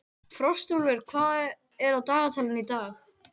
Frostúlfur, hvað er á dagatalinu í dag?